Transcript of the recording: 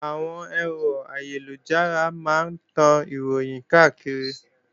Àwọn ẹ̀rọ ayélujára máa ń tan Ìròhìn káàkiri